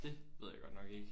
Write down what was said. Det ved jeg godt nok ikke